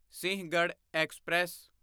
Sinhagad express